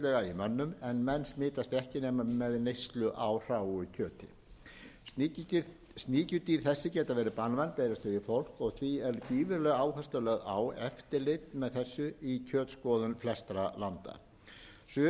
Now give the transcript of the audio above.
mönnum en menn smitast ekki nema við neyslu á hráu kjöti sníkjudýr þessi geta verið banvæn berist þau í fólk og því er gífurleg áhersla lögð á eftirlit með þessu í kjötskoðun flestra landa suða og frost drepa þessi sníkjudýr